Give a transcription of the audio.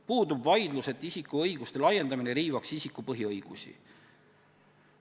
Puudub vaidlus selle üle, et isiku õiguste laiendamine riivaks isiku põhiõigusi.